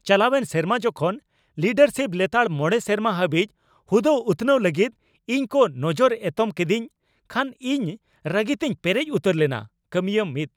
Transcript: ᱪᱟᱞᱟᱣᱮᱱ ᱥᱮᱨᱢᱟ ᱡᱚᱠᱷᱚᱱ ᱞᱤᱰᱟᱨᱥᱤᱯ ᱞᱮᱛᱟᱲ ᱕ ᱥᱮᱨᱢᱟ ᱦᱟᱹᱵᱤᱡ ᱦᱩᱫᱟᱹ ᱩᱛᱱᱟᱹᱣ ᱞᱟᱹᱜᱤᱫ ᱤᱧᱠᱚ ᱱᱚᱡᱚᱨ ᱮᱛᱚᱢ ᱠᱮᱫᱤᱧ ᱠᱷᱟᱱ ᱤᱧ ᱨᱟᱹᱜᱤ ᱛᱮᱧ ᱯᱮᱨᱮᱡ ᱩᱛᱟᱹᱨ ᱞᱮᱱᱟ ᱾ (ᱠᱟᱹᱢᱤᱭᱟᱹ ᱑)